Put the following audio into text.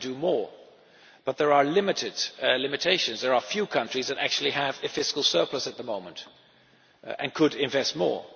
Some can do more, but there are limitations there are few countries that actually have a fiscal surplus at the moment and could invest more.